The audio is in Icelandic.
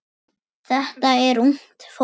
Þetta er ungt fólk.